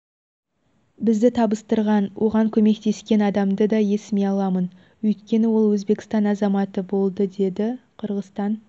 бізді табыстырған оған көмектескен адамды да есіме аламын өйткені ол өзбекстан азаматы болды деді қырғызстан